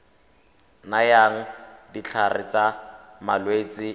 nayang ditlhare tsa malwetse le